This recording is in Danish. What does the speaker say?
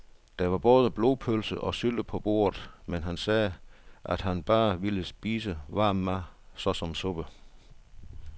Der var både blodpølse og sylte på bordet, men han sagde, at han bare ville spise varm mad såsom suppe.